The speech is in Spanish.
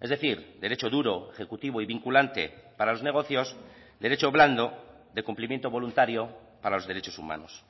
es decir derecho duro ejecutivo y vinculante para los negocios derecho blando de cumplimiento voluntario para los derechos humanos